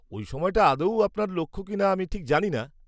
ওই সময়টা আদৌ আপনার লক্ষ্য কিনা আমি ঠিক জানি না।